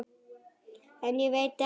En ég veit ekki.